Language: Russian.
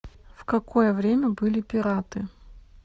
в какое время были пираты